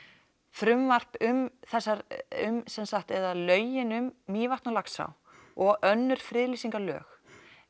frumvarp um þessar eða lögin um Mývatn og Laxá og önnur friðlýsingarlög